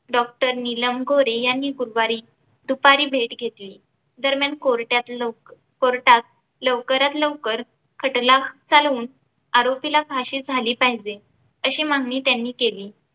doctor Neelam Gore यांनी गुरुवारी दुपारी भेट घेतली दरम्यान कोर्टात लव कोर्टात लवकरात लवकर खटला चालवून आरोपीला फाशी झाली पाहिजेअशी मागणी त्यांनी केली.